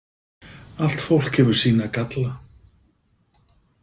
Allt fólk hefur sína galla.